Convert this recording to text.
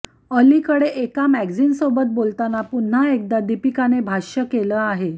अलीकडे एका मॅग्झिनसोबत बोलताना पुन्हा एकदा दीपिकाने भाष्य केलं आहे